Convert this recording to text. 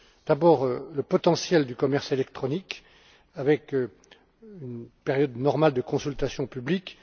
D'abord, le potentiel du commerce électronique, avec une période normale de consultation publique.